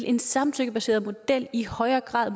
en samtykkebaseret model i højere grad